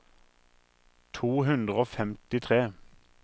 to hundre og femtitre